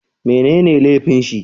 Mai ne ne laifin shi?